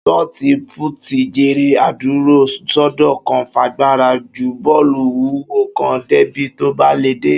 Ṣọọti-púùtì jéré adúró sódo kan fagbára ju bó̩ò̩lù wúwo kan débi tó bá lè dé